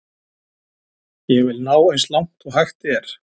Ég vil ná eins langt og hægt er.